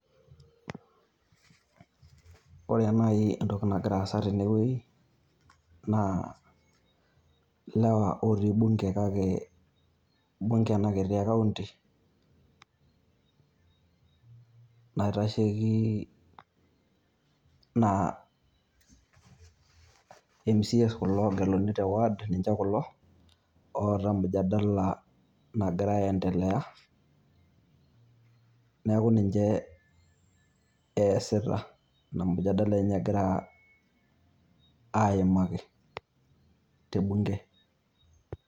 Ore naii entoki nagira aasa tene wueii naa ilewa otii mbunge kake mbunge ena kiti e county naitasheiki naa Member of county Assembly kulo oogeluni te ward kulo oota mujadala nagira aendelea neeku ninche eesita Ina mujadala egira aimaki Ina mujadala egira aimaki te mbunge